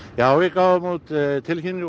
já við gáfum út tilkynningu og